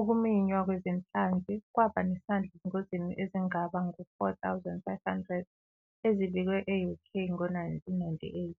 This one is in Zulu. Ukuminywa kwezinhlanzi kwaba nesandla ezingozini ezingaba ngu-4 500 ezibikwe e-UK ngo-1998.